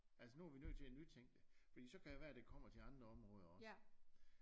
Altså nu vi nødt til at nytænke det fordi så kan det være det kommer til andre områder også